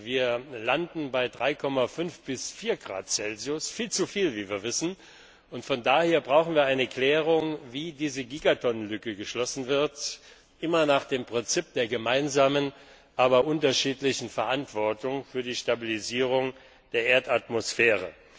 Wir landen bei 3,5 bis 4 Grad Celsius viel zu viel, wie wir wissen. Von daher brauchen wir eine Klärung, wie diese Gigatonnenlücke geschlossen wird immer nach dem Prinzip der gemeinsamen, aber unterschiedlichen Verantwortung für die Stabilisierung der Erdatmosphäre.